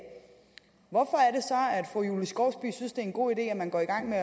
fru julie skovsby synes det er en god idé at man går i gang med